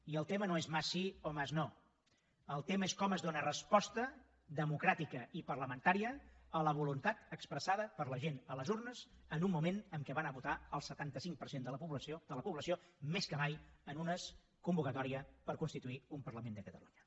i el tema no és mas sí o mas no el tema és com es dóna resposta democràtica i parlamentària a la voluntat expressada per la gent a les urnes en un moment en què va anar a votar el setanta cinc per cent de la població més que mai en una convocatòria per constituir un parlament de catalunya